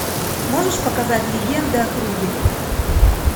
можешь показать легенды о круге